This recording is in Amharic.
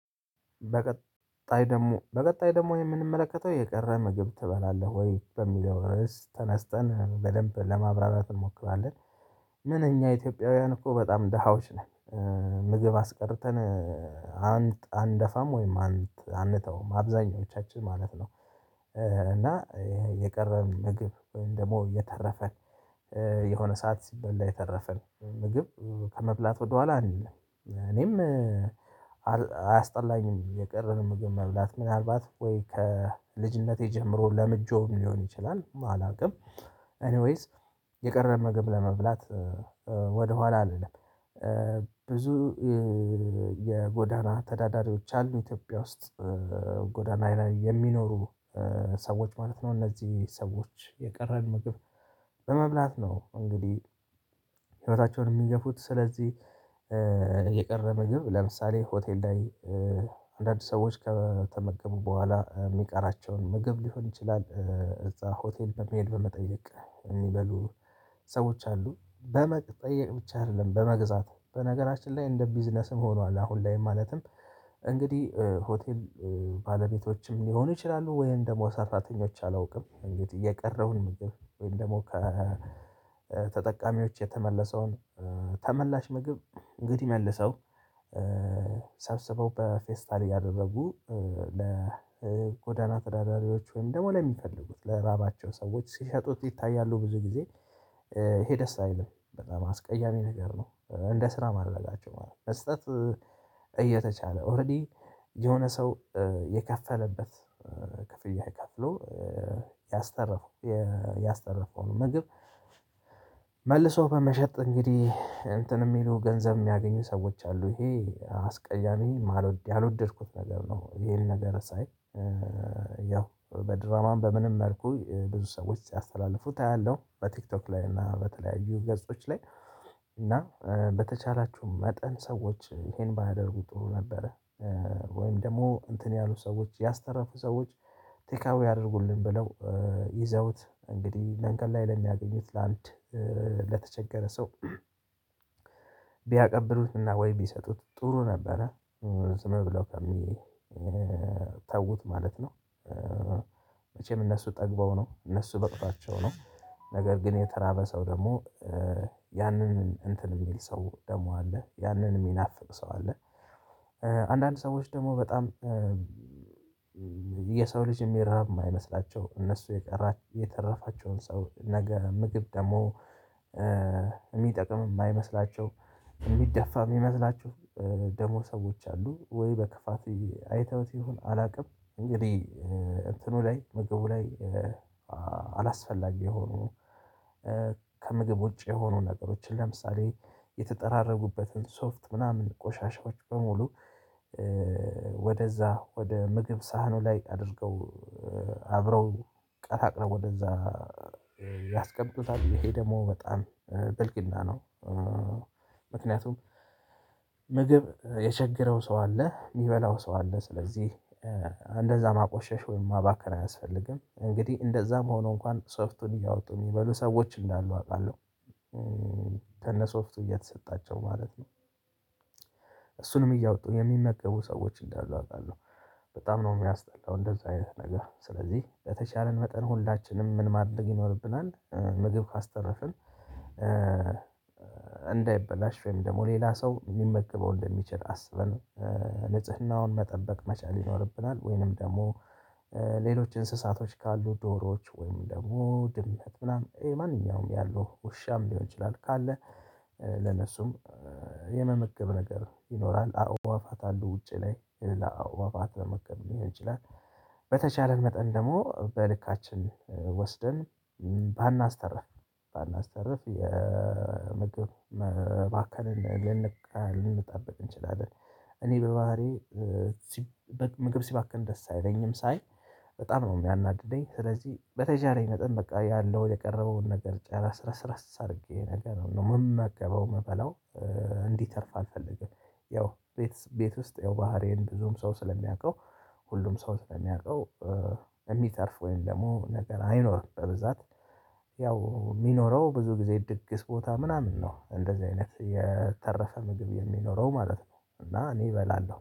በቀጣይ ደግሞ በቀጣይ ደግሞ የምንመለከተው የቀረ ምግብ ትበላለህ ወይ በሚለው ርዕስ ተነስተን በደንብ ለማብራራት እንሞክራለን? ምን እኛ ኢትዮጵያውያን እኮ በጣም ደሃዎች ነን። ምግብ አስቀርተን አንት አንደፋም ወይም አንት አንተውም አብዛኞቻችን ማለት ነው። እና ይሄ የቀረን ምግብ ወይም ደግሞ የተረፈን። የሆነ ሰዓት ሲበላ የተረፈን ምግብ ከመብላት ወደኋላ አንልም እኔም አያስጠላኝም የቀረንን ምግብ መብላት ምናልባት ወይ ከልጅነቴ ጀምሮ ለምጄውም ሊሆን ይችላል አላውቅም። የቀረን ምግብ ለመብላት ወደኋላ አንልም። ብዙ የጎዳና ተዳዳሪዎች አሉ ኢትዮጵያ ውስጥ ጎዳና ላይ የሚኖሩ ሰዎች ማለት ነው እነዚህ ሰዎች የቀረን ምግብ በመብላት ነው እንግዲህ። ህይወታቸውን የሚገፉት ስለዚህ የቀረ ምግብ ለምሳሌ ሆቴል ላይ አንዳንድ ሰዎች ከተመገቡ በኋላ የሚቀራቸውን ምግብ ሊሆን ይችላል። እዛ ሆቴል በመሄድ በመጠየቅ የሚበሉ ሰዎች አሉ በመጠየቅ ብቻ አይደለም በመግዛት በነገራችን ላይ እንደ ቢዝነስም ሆኗል አሁን ላይም ማለትም እንግዲህ ሆቴል ባለቤቶችም ሊሆኑ ይችላሉ። ወይም ደግሞ ሰራተኞች አላውቅም እንግዲህ የቀረውን ምግብ ወይም ደግሞ ከተጠቃሚዎች የተመለሰውን ተመላሽ ምግብ እንግዲህ መልሰው ሰብስበው በፌስታል እያደረጉ ለጎዳና ተዳዳሪዎች ወይም ደግሞ ለሚፈልጉት ለራባቸው ሰዎች ሲሸጡት ይታያሉ ብዙ ጊዜ። ይሄ ደስ አይልም በጣም አስቀያሚ ነገር ነው እንደ ስራ ማድረጋቸው ማለት ነው። መስጠት እየተቻለ ኦረዲ የሆነ ሰው የከፈለበት ክፍያ ከፍሎ ያስተረፉ ነው ያስተረፈዉን ምግብ መልሰው በመሸጥ እንግዲህ እንትን የሚሉ ገንዘብ የሚያገኙ ሰዎች አሉ። ይሄ አስቀያሚ ያልወደድኩት ነገር ነው ይሄን ነገር ሳይ ያው በድራማም በምንም መልኩ ብዙ ሰዎች ሲያስተላልፉት አያለሁ በቲክቶክ ላይ እና በተለያዩ ገጾች ላይ እና በተቻላችሁ መጠን ሰዎች ይሄን ባያደርጉ ጥሩ ነበረ። ወይም ደግሞ እንትን ያሉ ሰዎች ያስተረፉ ሰዎች ቴክ አወይ ያደርጉልን ብለው ይዘውት እንግዲህ መንገድ ላይ ለሚያገኙት ለአንድ ለተቸገረ ሰው ቢያቀብሉትና ወይ ቢሰጡት ጥሩ ነበረ። ዝም ብለው ከሚተውት ማለት ነው መቼም እነሱ ጠግበው ነው እነሱ በቅቷዋቸው ነው ነገር ግን የተራበ ሰው ደግሞ ያንን እንትን የሚል ሰው ደግሞ አለ ያንን የሚናፍቅ ሰው አለ። አንዳንድ ሰዎች ደግሞ በጣም የሰው ልጅ የሚራብ የማይመስላቸው እነሱ የቀራቸውን የተረፋቸዉን ሰው ነገ ምግብ ደግሞ የሚጠቅም የማይመስላቸው የሚደፋ የሚመስላቸው ደግሞ ሰዎች አሉ። ወይ በክፋት አይተውት ይሁን አላውቅም እንግዲህ እንትኑ ላይ ምግቡ ላይ አላስፈላጊ የሆኑ ከምግብ ውጪ የሆኑ ነገሮችን ለምሳሌ የተጠራረጉበትን ሶፍት ምናምን ቆሻሻዎች በሙሉ ወደዛ ወደ ምግብ ሳህኑ ላይ አድርገው አብረው ቀላቅለው ወደዛ ያስቀምጡታል ይሄ ደግሞ በጣም ብልግና ነው። ምክንያቱም ምግብ የቸገረው ሰው አለ የሚበላው ሰው አለ ስለዚህ እንደዛ ማቆሸሽ ወይም ማባከን አያስፈልግም እንግዲህ እንደዛም ሆኖ እንኳን ሶፍቱን እያወጡ የሚበሉ ሰዎች እንዳሉ አውቃለሁ። ከነ ሶፍቱ እየተሰጣቸው ማለት ነው እሱንም እያወጡ የሚመገቡ ሰዎች እንዳሉ አውቃለሁ። በጣም ነው የሚያስጠላው እንደዛ አይነት ነገር ስለዚህ በተቻለን መጠን ሁላችንም ምን ማድረግ ይኖርብናል። ምግብ ካስተረፍን እንዳይበላሽ ወይም ደግሞ ሌላ ሰው ሊመገበው እንደሚችል አስበን ንጽህናውን መጠበቅ መቻል ይኖርብናል ወይንም ደግሞ ሌሎች እንስሳቶች ካሉ ዶሮዎች ወይንም ደግሞ ድምት ምናምን ማንኛውም ያለው ውሻም ሊሆን ይችላል ካለ ለነሱም የመመገብ ነገር ይኖራል አዉዋፋት አሉ ውጪ ላይ የሌላ አዉዋፋት መመገብ ሊሆን ይችላል። በተቻለን መጠን ደግሞ በልካችን ወስደን ባናስተርፍ ባናስተርፍ የምግብ መባከንን ልንጠብቅ እንችላለን። እኔ በባህሪዬ ምግብ ሲባከን ደስ አይለኝም ሳይ በጣም ነው የሚያናድደኝ ስለዚህ በተቻለኝ መጠን በቃ ያለው የቀረበውን ነገር ጨረስረስ አድርጌ ነገር ነው የምምገበው እምበላው እንዲተርፍ አልፈልግም። ያው ቤት ቤት ውስጥ ያው ባህሪዬን ብዙም ሰው ስለሚያውቀው ሁሉም ሰው ስለሚያውቀው የሚተርፍ ወይም ደግሞ ነገር አይኖርም በብዛት ያው የሚኖረው ብዙ ጊዜ ድግስ ቦታ ምናምን ነው እንደዚህ አይነት የተረፈ ምግብ የሚኖረው ማለት ነው። እና እኔ እበላለሁ